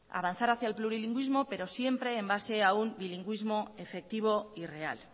avanzar hacia el plurilingüismo pero siempre en base a un bilingüismo efectivo y real